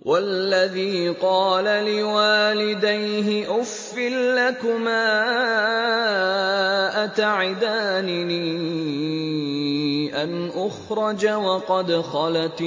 وَالَّذِي قَالَ لِوَالِدَيْهِ أُفٍّ لَّكُمَا أَتَعِدَانِنِي أَنْ أُخْرَجَ وَقَدْ خَلَتِ